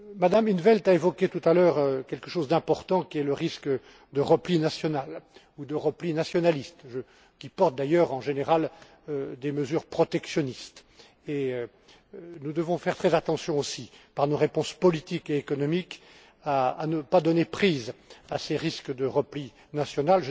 Mme in 't Veld a évoqué tout à l'heure quelque chose d'important, à savoir le risque de repli national ou de repli nationaliste, qui s'accompagne d'ailleurs en général de mesures protectionnistes. Nous devons faire très attention aussi, par nos réponses politiques et économiques, à ne pas donner prise à ces risques de repli national.